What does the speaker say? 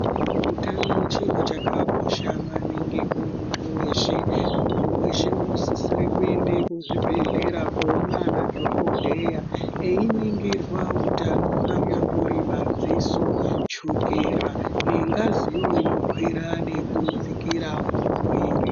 Utano chiro chakakosha maningi kumuntu weshe. Muntu weshe unosisire kuende kuzvibhedhlera koona ana dhokodheya einingirwa utano anyambori madziso, chukera nengaziyo inokwira nekudzikira mumuviri.